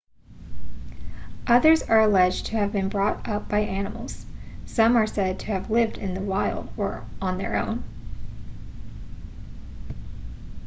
others are alleged to have been brought up by animals some are said to have lived in the wild on their own